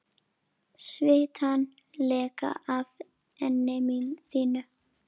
Svitann leka af enni þínu.